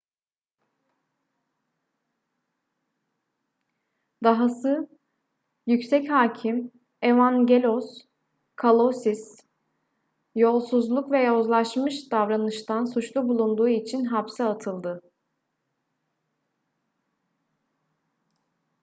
dahası yüksek hakim evangelos kalousis yolsuzluk ve yozlaşmış davranıştan suçlu bulunduğu için hapse atıldı